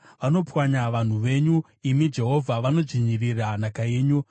Vanopwanya vanhu venyu, imi Jehovha, vanodzvinyirira nhaka yenyu.